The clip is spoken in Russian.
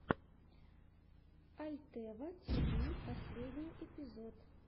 альтева тиви последний эпизод